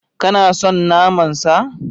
Kana son naman sa?